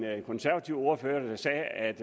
konservativ ordfører der sagde at